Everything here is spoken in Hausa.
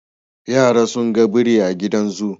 Yara sun ga biri a gidan zoo,